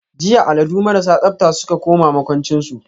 jiya alladu marasa tsabta suka koma makwanchin su.